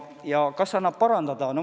Kas mudelit annab parandada?